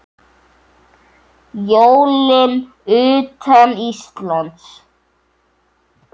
Jólin utan Íslands